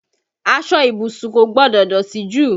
Aṣọ ìbùsùn kò gbọdọ̀ dọ̀tí jù